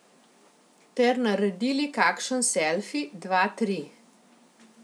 Ter naredili kakšen selfi, dva, tri.